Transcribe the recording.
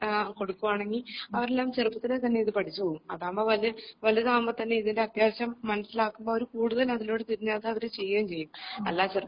കൊടുക്കുവാണെങ്കിൽ അവരെല്ലാം ചെറുപ്പത്തിലേ തന്നെ ഇത് പഠിച്ചുപോകും അതാവുമ്പോ വലിയ വലുതാവുമ്പോ തന്നെ അത്യാവശ്യം മനസിലാക്കുമ്പോ അവര് കൂടുതൽ അതിലോട്ട് തിരിഞ്ഞു അവര് അത് ചെയ്യേ ചെയ്യും അല്ലാതെ